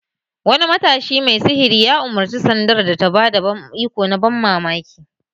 Wani matashi mai sihiri ya umarci sandar da ta ba da iko na ban mamaki!